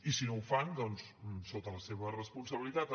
i si no ho fan doncs sota la seva responsabilitat